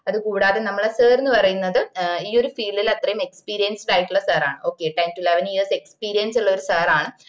അത് കൂടാതെ നമ്മള sir ന് പറയുന്നത് ഈ ഒരു field ഇൽ അത്രേം experienced ആയിട്ടുള്ള sir ആണ് okay ten to eleven years experience ഉള്ള ഒര് sir ആണ്